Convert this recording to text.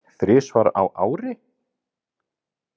Þrisvar á ári?